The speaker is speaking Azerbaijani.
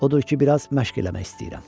Odur ki, bir az məşq eləmək istəyirəm.